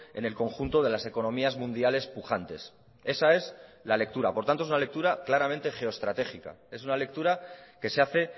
en el conjunto de las economías mundiales pujantes esa es la lectura por tanto es una lectura claramente geoestratégica es una lectura que se hace